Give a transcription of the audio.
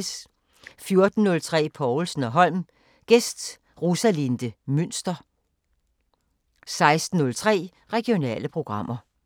14:03: Povlsen & Holm: Gæst Rosalinde Mynster 16:03: Regionale programmer